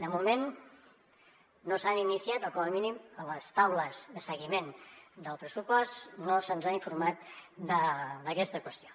de moment no s’han iniciat o com a mínim a les taules de seguiment del pressupost no se’ns ha informat d’aquesta qüestió